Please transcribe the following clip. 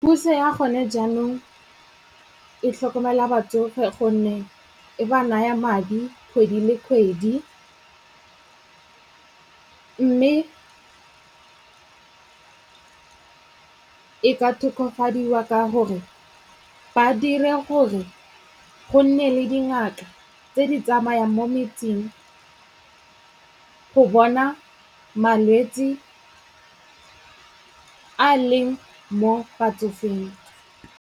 Puso ya gone jaanong e tlhokomela batsofe gonne e ba naya madi kgwedi le kgwedi. Mme e ka tokafadiwa ka gore ba dire gore go nne le dingaka tse di tsamayang mo metseng go bona malwetsi a a leng mo batsofeng.